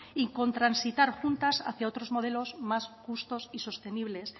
y con transitar juntas hacia otros modelos más justos y sostenibles